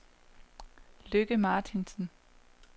Lykke Martinsen